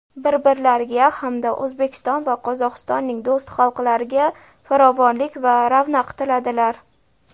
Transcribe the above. bir-birlariga hamda O‘zbekiston va Qozog‘istonning do‘st xalqlariga farovonlik va ravnaq tiladilar.